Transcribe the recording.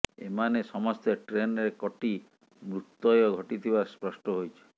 ଏମାନେ ସମସ୍ତେ ଟ୍ରେନରେ କଟି ମୃତୁ୍ୟ ଘଟିଥିବା ସ୍ପଷ୍ଠ ହୋଇଛି